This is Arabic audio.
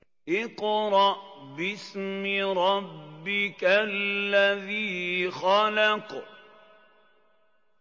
اقْرَأْ بِاسْمِ رَبِّكَ الَّذِي خَلَقَ